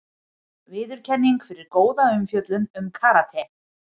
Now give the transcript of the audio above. Viðurkenning fyrir góða umfjöllun um karate